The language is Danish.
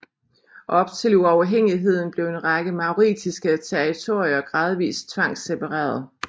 Op til uafhængigheden blev en række mauritiske territorier gradvis tvangssepareret